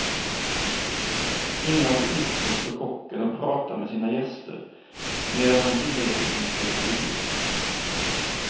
Innanför disken står kocken och pratar med sina gäster, medan han tillreder sin specialitet.